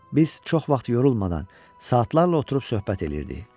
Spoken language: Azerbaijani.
Biz çox vaxt yorulmadan, saatlarla oturub söhbət eləyirdik.